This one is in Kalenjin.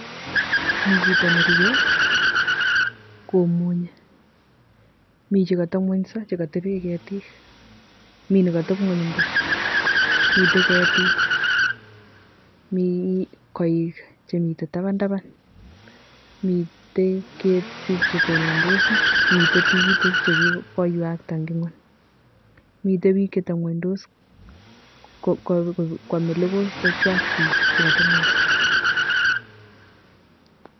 Mii chito nerwe kimunye, mii chekoteb ngwenyso chekoteben ketik, mii nekoteb ngweny buch, miten ketik, mii koik chemiten tabantaban, miten ketik chetonondos, miten tikitik chekikoiwakta eng' ngweny, miten biik chetebngwenyndos kwome lokoi chechwak biik chekotebngwenyso.